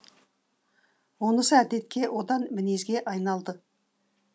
онысы әдетке одан мінезге айналды